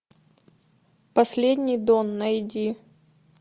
последний дон найди